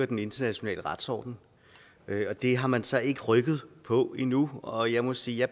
den internationale retsorden det har man så ikke rykket på endnu og jeg må sige at